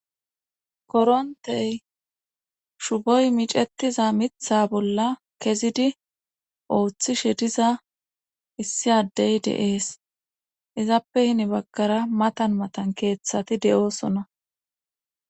korontey shuboy micetiza mitha bolla kezidi ooththishe diza issi addey deees izappe hini baggara matan matan keeththati de7oosona